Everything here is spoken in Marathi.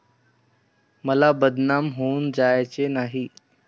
मला बदनाम होऊन जायचे नाही.